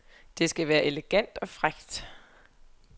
Det skal være elegant og frækt.